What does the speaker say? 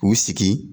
K'u sigi